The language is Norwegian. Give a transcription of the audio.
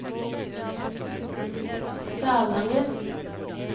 Salangen